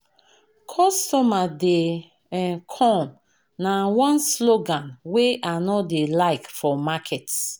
Customer dey um come na one slogan wey I no dey like for market.